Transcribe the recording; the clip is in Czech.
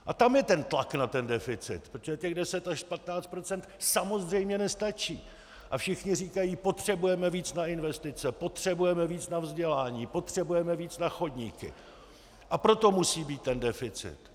A tam je ten tlak na ten deficit, protože těch 10 až 15 % samozřejmě nestačí a všichni říkají: potřebujeme víc na investice, potřebujeme víc na vzdělání, potřebujeme víc na chodníky, a proto musí být ten deficit.